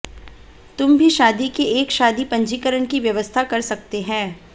तुम भी शादी के एक शादी पंजीकरण की व्यवस्था कर सकते हैं